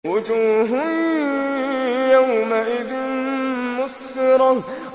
وُجُوهٌ يَوْمَئِذٍ مُّسْفِرَةٌ